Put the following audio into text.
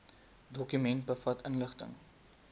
dokument bevat inligting